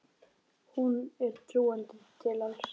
Honum er trúandi til alls.